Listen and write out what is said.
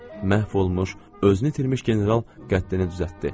Məhv olmuş, özünü itirmiş general qəddini düzəltdi.